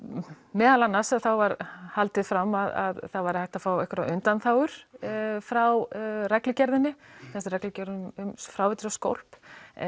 meðal annars var haldið fram að það væri hægt að fá einhverjar undanþágur frá reglugerðinni þessari reglugerð um fráveitur og skólp